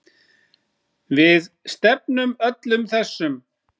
Við stefnum öllum þessum